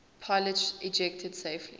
pilots ejected safely